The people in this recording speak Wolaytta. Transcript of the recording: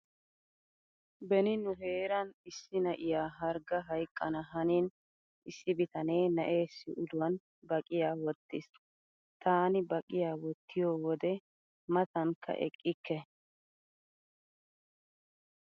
Beni nu heeran issi na'iya hargga hayqqana haniini issi bitanee na'eessi uluwan baqiya wottiis. Taani baqiya wottiyo wode matankka eqqikke.